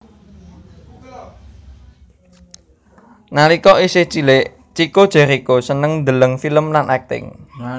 Nalika isih cilik Chico Jericho seneng ndeleng film lan akting